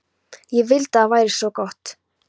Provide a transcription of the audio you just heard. Ég vildi að það væri svo gott.